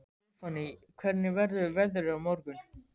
Stefánný, hvernig verður veðrið á morgun?